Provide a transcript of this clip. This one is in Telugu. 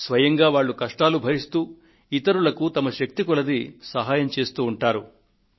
వారు స్వయంగా కష్టాలను భరిస్తూ తమ శక్తి కొద్దీ ఇతరులకు సహాయపడుతూ ఉంటారు